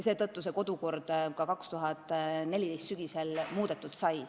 Seetõttu sai kodukord 2014. aasta sügisel muudetud.